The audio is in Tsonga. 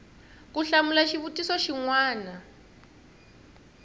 ku hlamula xivutiso xin wana